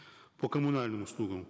по коммунальным услугам